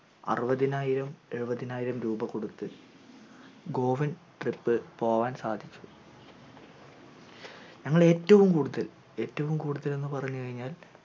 അറുവതിനായിരം ഏഴുവതിനായിരം രൂപ കൊടുത്ത് goan trip പോവാൻ സാധിച്ചു ഞങ്ങളെ ഏറ്റവും കൂടുതൽ ഏറ്റവും കൂടുതൽ എന്ന് പറഞ്ഞുകഴിഞ്ഞാൽ